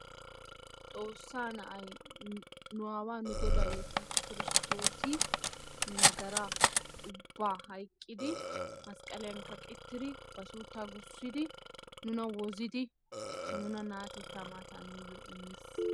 Xoossaa na'ay nu aawaa nu godaa Yesus Kiristtoosi nu nagaraa ubbaa hayqqidi, masqqaliyan kaqettidi, ba suuttaa gussidi nuna wozidi, nuna naatettaa maataa nuuyyo immiis.